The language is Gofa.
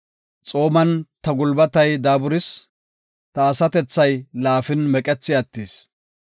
Xooman ta gulbatay daaburis; ta asatethay laafin meqethi attis.